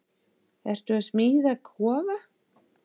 Ertu að smíða kofa?